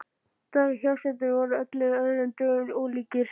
Dagar hjásetunnar voru öllum öðrum dögum ólíkir.